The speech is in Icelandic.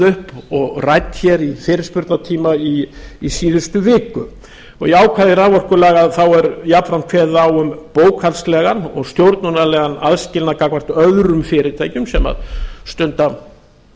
upp og rædd hér í fyrirspurnartíma í síðustu viku í ákvæðum raforkulaga er jafnframt kveðið á um bókhaldslegan og stjórnunarlegan aðskilnað gagnvart öðrum fyrirtækjum sem stunda